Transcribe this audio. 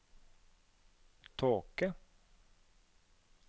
tåke